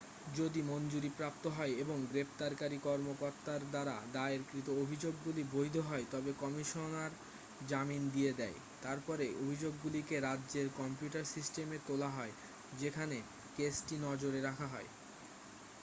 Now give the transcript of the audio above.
যদি মঞ্জুরিপ্রাপ্ত হয় এবং গ্রেপ্তারকারী কর্মকর্তার দ্বারা দায়েরকৃত অভিযোগগুলি বৈধ হয় তবে কমিশনার জামিন দিয়ে দেয় তারপরে অভিযোগগুলিকে রাজ্যের কম্পিউটার সিস্টেমে তোলা হয় যেখানে কেসটি নজরে রাখা হয়